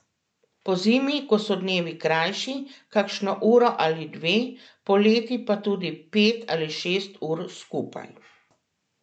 Pozimi, ko so dnevi krajši, kakšno uro ali dve, poleti pa tudi pet ali šest ur skupaj.